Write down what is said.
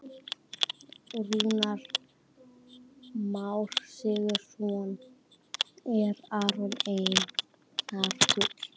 Rúnar Már Sigurjónsson: Er Aron Einar segull?